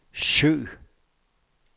søg